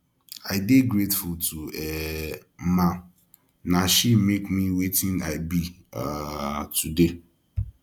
i dey grateful to um mma na she make me wetin i be um today